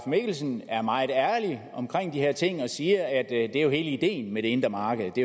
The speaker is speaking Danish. mikkelsen er meget ærlig om de her ting og siger at det er hele ideen med det indre marked og at det